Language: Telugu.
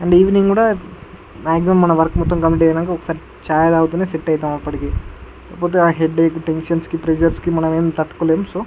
అండ్ ఈవెనింగ్ కూడా మాక్సిమం మన వర్క్ మొత్తం కంప్లీట్ అయినాక ఒకసారి చాయ్ తాగితేనే సెట్ ఐతం అప్పటికి లేపోతే ఆహ్ హెడ్ ఏక్ టెన్షన్స్ కి ప్రెషర్స్ కి మనం ఎం తట్టుకోలేం సో --